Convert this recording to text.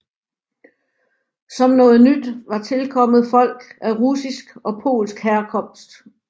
Som noget nyt var tilkommet folk af russisk og polsk herkomst